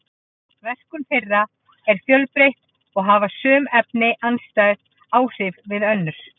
verkun þeirra er fjölbreytt og hafa sum efnin andstæð áhrif við önnur